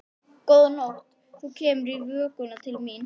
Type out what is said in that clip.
Góða nótt, þú kemur í vökunni til mín.